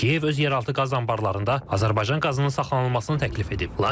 Kiyev öz yeraltı qaz anbarlarında Azərbaycan qazının saxlanılmasını təklif edib.